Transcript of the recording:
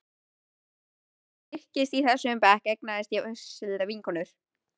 Sjálfsöryggi mitt styrktist og í þessum bekk eignaðist ég vinkonur.